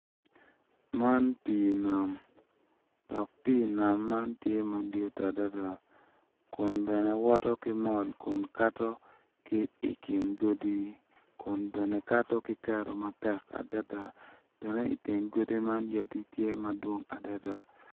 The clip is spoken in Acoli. Man pii nam dok pii nam man tye madit adada kun bene woto ki mol kun kato ki i kin godi kun bene kato ki kero matek adada bene i teng godi man yadi tye madongo adada.